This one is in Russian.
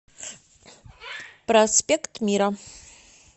проспект мира